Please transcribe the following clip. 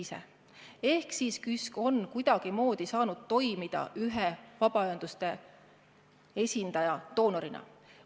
Seega on KÜSK kuidagimoodi saanud toimida ühe vabaühenduste esindaja doonorina.